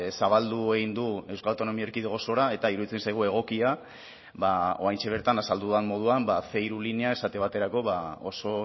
zabaldu egin du euskal autonomia erkidego osora eta iruditzen zaigu egokia bada oraintxe bertan azaldu dudan moduan ce hiru linea esate baterako oso